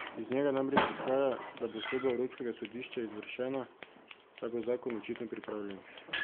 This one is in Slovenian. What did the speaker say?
Iz njega namreč izhaja, da bo sodba evropskega sodišča izvršena, saj bo zakon očitno pripravljen.